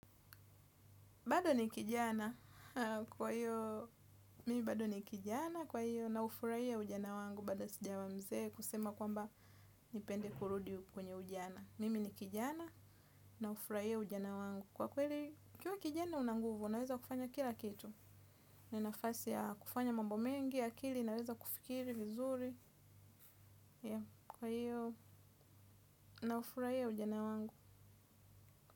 Bado ni kijana kwa hiyo naufurahia ujana wangu bado sijawa mzee kusema kwamba nipende kurudi kwenye ujana. Mimi ni kijana na hufurahia ujana wangu kwa kweli ukiwa kijana una nguvu unaweza kufanya kila kitu. Ni nafasi ya kufanya mambo mengi akili inaweza kufikiri vizuri yea kwa hiyo naufurahia ujana wangu.